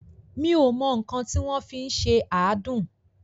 Mi ò mọ nǹkan tí wọ́n fi ń ṣe àádùn.